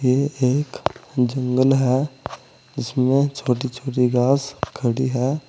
ये एक जंगल है इसमें छोटी छोटी घास खड़ी है।